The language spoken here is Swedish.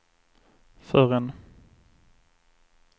förrän